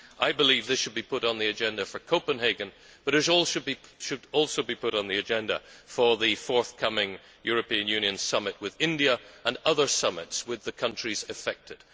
I believe this should be put on the agenda for Copenhagen, but it should also be put on the agenda for the forthcoming European Union summit with India and other summits with the countries affected.